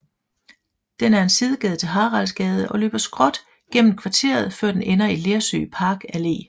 Den er en sidegade til Haraldsgade og løber skråt gennem kvarteret før den ender i Lersø Park Allé